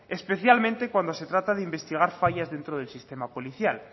especialmente cuando se trata de investigar fallos dentro del sistema policial